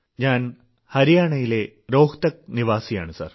ഞാൻ ഹരിയാണയിലെ രോഹ്തക് നിവാസിയാണു സർ